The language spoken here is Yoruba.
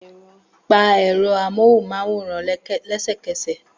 Pa ẹ̀rọ amóhùnmáwòrán lẹ́sẹ̀kẹsẹ̀!